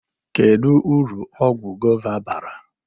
Kedu uru ọgwụ gova bara?